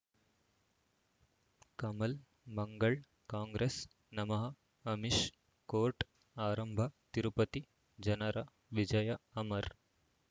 ಕಮಲ್ ಮಂಗಳ್ ಕಾಂಗ್ರೆಸ್ ನಮಃ ಅಮಿಷ್ ಕೋರ್ಟ್ ಆರಂಭ ತಿರುಪತಿ ಜನರ ವಿಜಯ ಅಮರ್